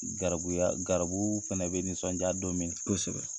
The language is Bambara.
Garibuya garibu fana bɛ nisɔndiya don min na kosɛbɛ